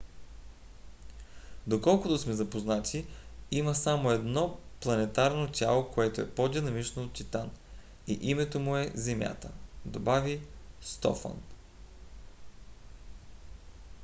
доколкото сме запознати има само едно планетарно тяло което е по-динамично от титан и името му е земята, добави стофан